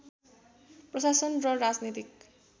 प्रशासन र राजनीतिक